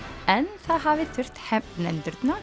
en það hafi þurft